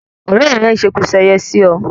Òrẹ́ rẹ́ n seku seye sí ọ